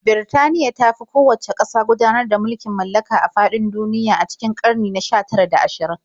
Birtaniya ta fi kowacce ƙasa gudanar da mulkin mallaka a faɗin duniya a cikin ƙarni na 19 da 20.